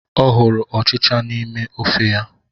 Ọ hụrụ ọchịcha n'ime ofe ya.